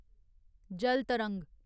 जल तरंग